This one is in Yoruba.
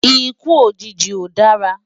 Ikú ójiji ó dárá